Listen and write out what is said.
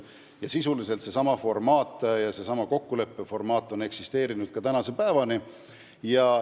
Ja sisuliselt on seesama kokkulepe kehtinud tänase päevani.